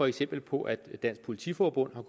eksempler på at politiforbundet